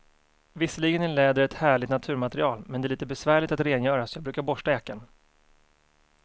Visserligen är läder ett härligt naturmaterial, men det är lite besvärligt att rengöra, så jag brukar borsta jackan.